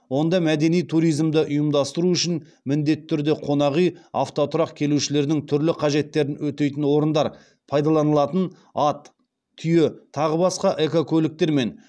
онда мәдени туризмді ұйымдастыру үшін міндетті түрде қонақүй автотұрақ келушілердің түрлі қажеттерін өтейтін орындар пайдаланатын ат түйе тағы басқа экокөліктер мен